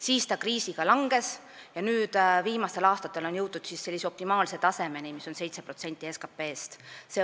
Kriisi ajal see osakaal kahanes ja nüüd, viimastel aastatel on jõutud sellise optimaalse tasemeni, mis on 7% SKT-st.